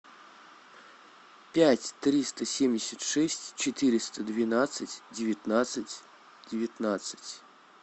пять триста семьдесят шесть четыреста двенадцать девятнадцать девятнадцать